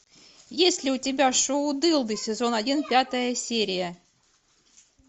есть ли у тебя шоу дылды сезон один пятая серия